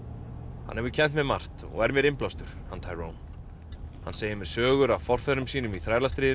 hann hefur kennt mér margt og er mér innblástur hann Tyrone hann segir mér sögur af forfeðrum sínum í